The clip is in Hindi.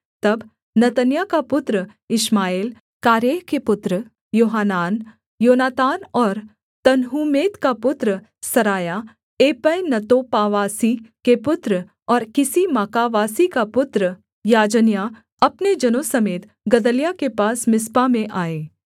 तब नतन्याह का पुत्र इश्माएल कारेह के पुत्र योहानान योनातान और तन्हूमेत का पुत्र सरायाह एपै नतोपावासी के पुत्र और किसी माकावासी का पुत्र याजन्याह अपने जनों समेत गदल्याह के पास मिस्पा में आए